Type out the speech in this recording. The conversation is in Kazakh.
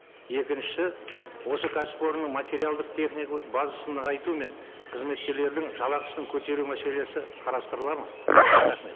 екінші осы кәсіпорынның материалдық техникалық базасын нығайту мен қызметкерлердің жалақысын көтеру мәселесі қарастырылады ма рахмет